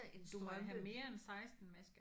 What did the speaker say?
Du må have mere end 16 masker